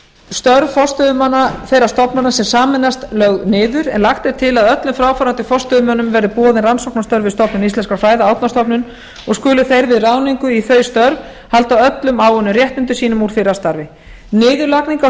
störf forstöðumanna þeirra stofnana sem sameinast lögð niður en lagt er til að öllum fráfarandi forstöðumönnum verði boðin rannsóknarstörf við stofnun íslenskra fræða árnastofnun og skulu þeir við ráðningu í þau störf halda öllum áunnum réttindum sínum úr fyrra starfi niðurlagning á